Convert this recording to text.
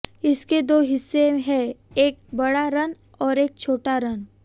इसके दो हिस्से हैं एक बड़ा रन और एक छोटा रन